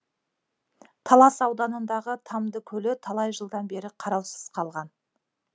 талас ауданындағы тамды көлі талай жылдан бері қараусыз қалған